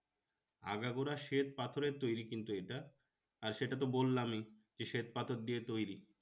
আগাগোড়া শ্বেত পাথরের তৈরী কিন্তু এটা আর সেটা তো বললামই যে শ্বেত পাথর দিয়ে তৈরী